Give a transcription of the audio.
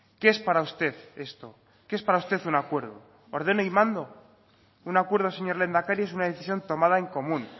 qué es para usted esto qué es para usted un acuerdo ordeno y mando un acuerdo señor lehendakari es una decisión tomada en común